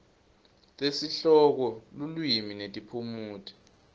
tesihloko lulwimi netiphumuti